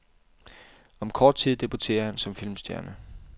Om kort tid debuterer han som filmstjerne.